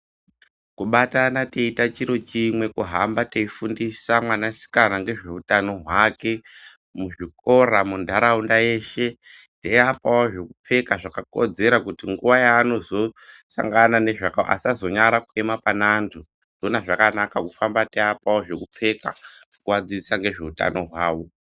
Kubatana teite chiro chimwe kuhamba teifundisa mwanasikana ngezve utano hwake muzvikora munharaunda yeshe teiapawo zvekupfeka zvakakodzera kuti nguwa yaanozosangana nezvakawanda asazonyara kuema pane antu ndoona zvakanaka kuhamba teiapawo zvekupfeka teiadzidzisa ngezve utano hwavo.